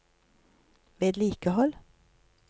vedlikehold